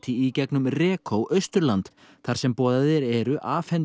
í gegnum Austurland þar sem boðaðir eru